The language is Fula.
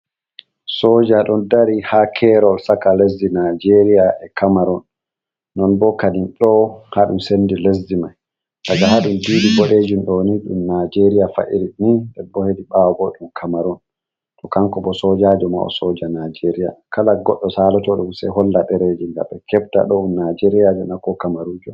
Sooja ɗon dari ha kerol saka lessdi nijeria e kamaron, non bokadim ɗo kanjuum sendi lesdi mai, daga ha didi boɗeeejin ɗooni ɗum nijeria fa'iri ni debbohei ɓawo boo ɗum kamaron, to kanko bo soojajo mai sooja nijeria, kala godɗo saloto dum sei holla dereeji gam ɓe kebta ɗoo ɗum nijeriajo na ko kamarujo.